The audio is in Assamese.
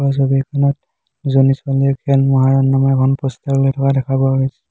ওপৰৰ ছবিখনত দুজনী ছোৱালীয়ে খেল মহৰণ নামৰ এখন প'ষ্টাৰ লৈ থকা দেখা পোৱা গৈছে।